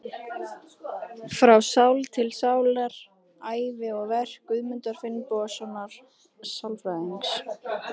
Frá sál til sálar: Ævi og verk Guðmundar Finnbogasonar sálfræðings.